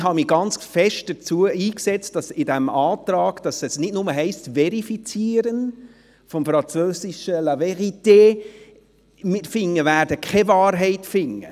Ich habe mich stark dafür eingesetzt, im vorliegenden Antrag nicht nur «verifizieren» zu schreiben – vom französischen la vérité –, denn wir werden keine Wahrheit finden.